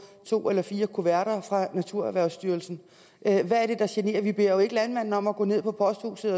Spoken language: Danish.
to eller fire kuverter fra naturerhvervsstyrelsen hvad er det der generer vi beder jo ikke landmanden om og gå ned på posthuset